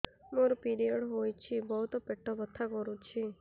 ମୋର ପିରିଅଡ଼ ହୋଇଛି ବହୁତ ପେଟ ବଥା କରୁଛି